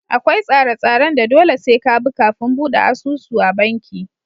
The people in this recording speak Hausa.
Akwai tsare tsaren da dole sai ka bi kafin buɗe asusu a banki